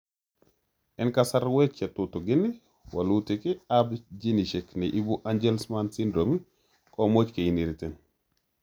En kasarwek chetutigin, walutik ab genisiek neibu angelman syndrome komuch keinheriten